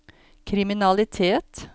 kriminalitet